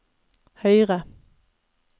høyre